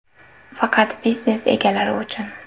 Faqat biznes egalari uchun!!!